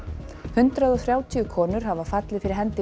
hundrað og þrjátíu konur hafa fallið fyrir hendi